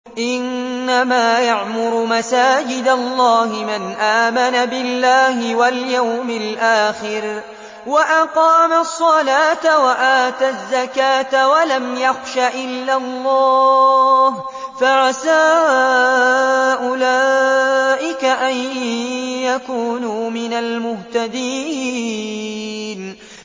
إِنَّمَا يَعْمُرُ مَسَاجِدَ اللَّهِ مَنْ آمَنَ بِاللَّهِ وَالْيَوْمِ الْآخِرِ وَأَقَامَ الصَّلَاةَ وَآتَى الزَّكَاةَ وَلَمْ يَخْشَ إِلَّا اللَّهَ ۖ فَعَسَىٰ أُولَٰئِكَ أَن يَكُونُوا مِنَ الْمُهْتَدِينَ